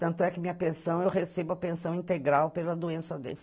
Tanto é que minha pensão, eu recebo a pensão integral pela doença dele.